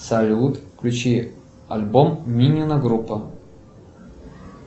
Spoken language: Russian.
салют включи альбом минина группа